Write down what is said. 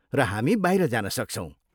र हामी बाहिर जान सक्छौँ।